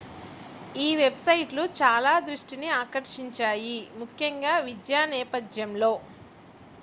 ఈ వెబ్సైట్లు చాలా దృష్టిని ఆకర్షించాయి ముఖ్యంగా విద్య నేపధ్యంలో